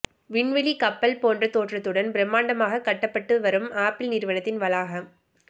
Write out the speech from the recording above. விண்வெளி கப்பல் போன்ற தோற்றத்துடன் பிரமாண்டமாக கட்டப்பட்டு வரும் ஆப்பிள் நிறுவனத்தின் வளாகம்